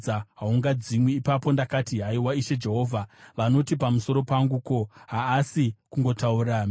Ipapo ndakati, “Haiwa, Ishe Jehovha! Vanoti pamusoro pangu, ‘Ko, haasi kungotaura mifananidzo here?’ ”